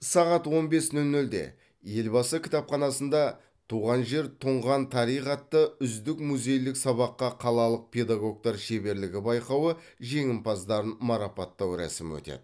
сағат он бес нөл нөлде елбасы кітапханасында туған жер тұнған тарих атты үздік музейлік сабаққа қалалық педагогтар шеберлігі байқауы жеңімпаздарын марапаттау рәсімі өтеді